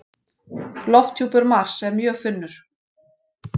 Lofthjúpur Mars er mjög þunnur.